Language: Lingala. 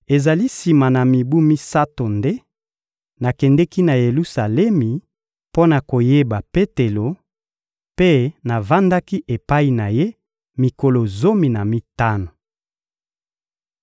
Ezali sima na mibu misato nde nakendeki na Yelusalemi mpo na koyeba Petelo, mpe navandaki epai na ye mikolo zomi na mitano.